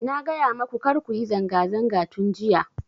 Na gaya maku kar kuyi zanga zanga tun jiya